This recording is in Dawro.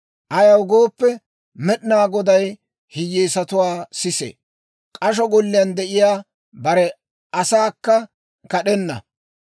Ayaw gooppe, Med'inaa Goday hiyyeesatuwaa sisee; k'asho golliyaan de'iyaa bare asaakka kad'enna.